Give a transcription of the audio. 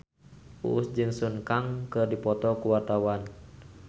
Uus jeung Sun Kang keur dipoto ku wartawan